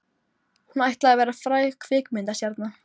Hún ætlaði að verða fræg kvikmyndastjarna.